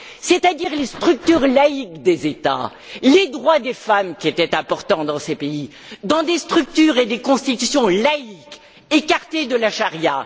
c'est à dire les structures laïques des États, les droits des femmes qui étaient importants dans ces pays, dans des structures et des constitutions laïques écartées de la charia.